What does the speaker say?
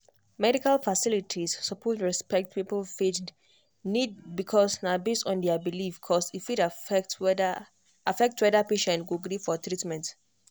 medical facilities suppose respect people faith needs because na based on their belief cause e fit affect whether affect whether patient go gree for treatment.